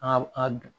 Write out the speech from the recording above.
A a dun